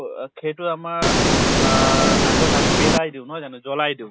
আ ব খেইটোৱে আমাক আ আগত আমি পেলাই দিওঁ নহয়, জ্বলাই দিওঁ ?